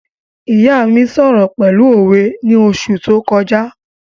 ìyá mí sọ̀rọ̀ pẹ̀lú òwe ni oṣù tó kọjá